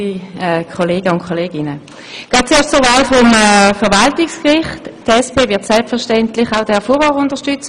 Die SP-JUSO-PSA-Fraktion wird selbstverständlich auch Herrn Erik Furrer unterstützen.